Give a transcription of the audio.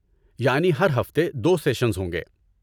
یعنی ہر ہفتے دو سیشنز ہوں گے